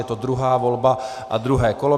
Je to druhá volba a druhé kolo.